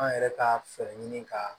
An yɛrɛ ka fɛɛrɛ ɲini ka